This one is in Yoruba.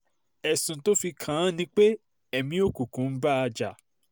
ẹ̀sùn tó fi kàn án ni pé ẹ̀mí òkùnkùn ń bá a jà